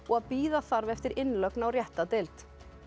að bíða þarf eftir innlögn á rétta deild